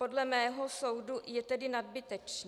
Podle mého soudu je tedy nadbytečný.